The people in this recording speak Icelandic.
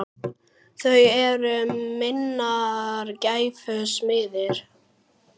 Þau eru minnar gæfu smiðir.